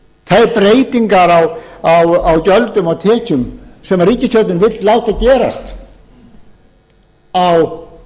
þær breytingar á gjöldum og tekjum sem ríkisstjórnin vill láta gera á